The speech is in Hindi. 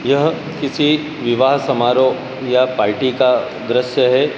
यह किसी विवाह समारोह या पार्टी का दृश्य है।